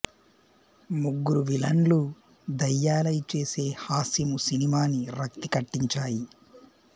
ముగ్గురు విలన్లూ దయ్యాలై చేసే హాస్యమూ సినిమాని రక్తి కట్టంచాయి